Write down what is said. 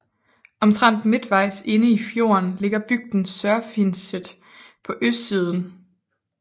Omtrent midtvejs inde i fjorden ligger bygden Sørfinnset på østsiden